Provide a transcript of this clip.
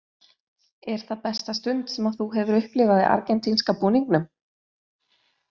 Er það besta stund sem þú hefur upplifað í argentínska búningnum?